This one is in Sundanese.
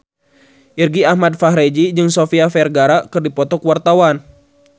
Irgi Ahmad Fahrezi jeung Sofia Vergara keur dipoto ku wartawan